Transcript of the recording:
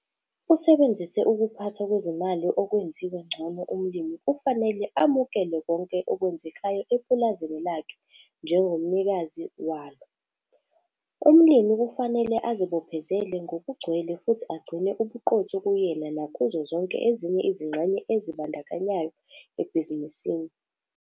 Usebenzise ukuphathwa kwezimali okwenziwe ngcono umlimi kufanele amukele konke okwenzekayo epulazini lakhe njengomnikazi wako. Umlimi kufanele azibophezele ngokugcwele futhi agcine ubuqotho kuyena nakuzo zonke ezinye izingxenye ezibandakanyekayo ebhizinisini.